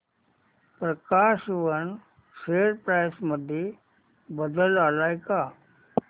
प्रकाश woollen share price मध्ये बदल आलाय का